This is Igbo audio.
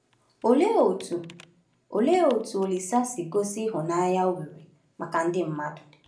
Olee otú Olise Olee otú Olise si gosi ịhụnanya o nwere maka ndị mmadụ?